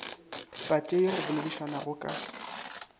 patše ye go boledišwanago ka